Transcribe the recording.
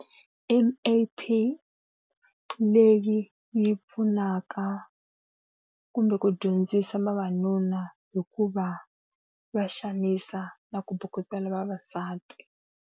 M_A_T leyi yi pfunaka kumbe ku dyondzisa vavanuna hi ku va va xanisa na ku bukutela vavasati.